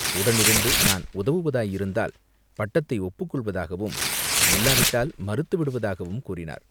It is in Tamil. உடனிருந்து நான் உதவுவதாயிருந்தால் பட்டத்தை ஒப்புக்கொள்வதாகவும் இல்லாவிட்டால் மறுத்துவிடுவதாகவும் கூறினார்.